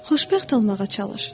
Xoşbəxt olmağa çalış.